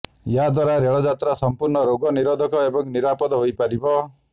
ଏହାଦ୍ୱାରା ରେଳଯାତ୍ରା ସମ୍ପୂର୍ଣ୍ଣ ରୋଗ ନିରୋଧକ ଏବଂ ନିରାପଦ ହୋଇପାରିବ